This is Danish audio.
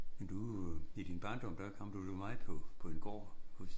Men du øh i den barndom der kom du da meget på på den gård hos